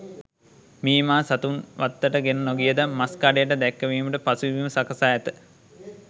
මීමා සතුන් වත්තට ගෙන නොගියද මස් කඩයට දැක්කවීමට පසුබිම සකසා ඇත.